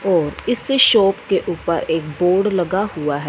और इसी शॉप के ऊपर एक बोर्ड लगा हुआ है।